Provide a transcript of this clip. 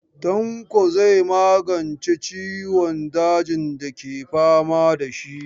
Tanko zai magance ciwon dajin dake fama da shi.